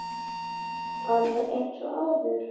Alveg eins og áður.